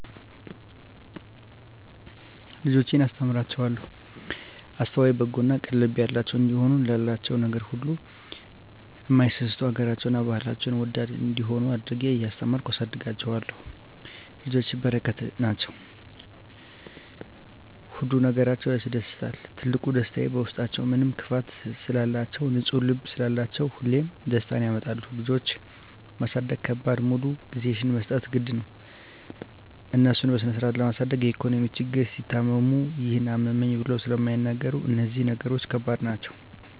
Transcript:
ልጆቼን እማስተምራቸዉ አስተዋይ፣ በጎ እና ቅን ልብ ያላቸዉ እንዲሆኑ፣ ላላቸዉ ነገር ሁሉ እማይሳስቱ፣ ሀገራቸዉን እና ባህላቸዉን ወዳድ እንዲሆነ አድርጌ እያስተማርኩ አሳድጋቸዋለሁ። ልጆች በረከት ናቸዉ። ሁሉ ነገራቸዉ ያስደስታል ትልቁ ደስታየ በዉስጣችዉ ምንም ክፋት ስለላቸዉ፣ ንፁ ልብ ስላላቸዉ ሁሌም ደስታን ያመጣሉ። ልጆች ማሳደግ ከባዱ ሙሉ ጊዜሽን መስጠት ግድ ነዉ፣ እነሱን በስነስርአት ለማሳደግ የኢኮኖሚ ችግር፣ ሲታመሙ ይሄን አመመኝ ብለዉ ስለማይናገሩ እነዚህ ነገሮች ከባድ ናቸዉ።